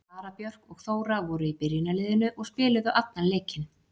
Sara Björk og Þóra voru í byrjunarliðinu og spiluðu allan leikinn.